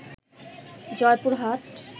Joypurhat